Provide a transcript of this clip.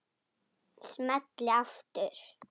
Smelli aftur.